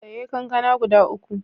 Saye kankana guda uku.